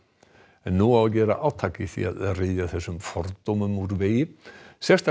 en nú á að gera átak í því að ryðja þessum fordómum úr vegi sérstakt